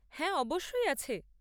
হ্যাঁ অবশ্যই আছে।